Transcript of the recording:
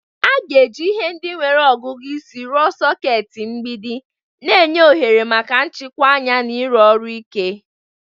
A ga-eji ihe ndị nwere ọgụgụ isi rụọ soketi mgbidi, na-enye ohere maka njikwa anya na ịrụ ọrụ ike.